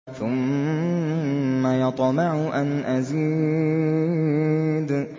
ثُمَّ يَطْمَعُ أَنْ أَزِيدَ